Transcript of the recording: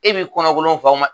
E b'i kɔnɔ kolon faw ma